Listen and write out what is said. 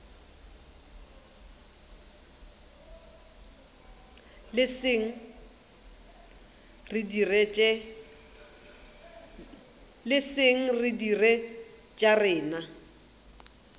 leseng re dire tša rena